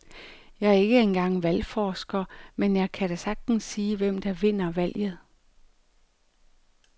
Jeg er ikke engang valgforsker, men jeg kan da sagtens sige, hvem der vinder valget.